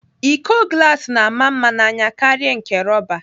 Íkó glas na-ama mma n'anya karịa nke rọba.